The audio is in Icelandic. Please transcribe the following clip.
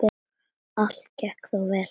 Allt gekk þó vel.